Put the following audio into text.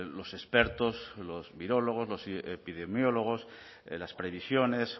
los expertos los virólogos los epidemiólogos las previsiones